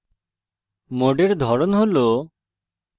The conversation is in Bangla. modes ধরন হল: